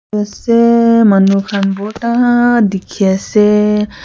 ase manu khan bhorta dikhi ase.